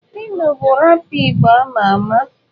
Phyno bu rápà igbo ama ama.